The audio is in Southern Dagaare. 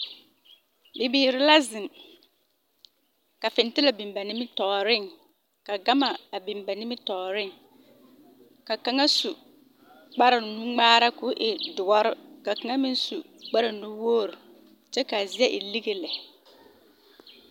Bibiiri la zeŋ ka fentelɛ biŋ ba nimitɔɔreŋ ka gama biŋ ba nimitɔɔreŋ ka kaŋa su kparnuŋmaara k,o e doɔre ka kaŋa meŋ su kparnuwogri kyɛ k,a zie e lige lɛ.